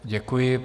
Děkuji.